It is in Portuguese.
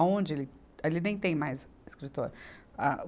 Aonde ali, ali nem tem mais escritório. Ah, o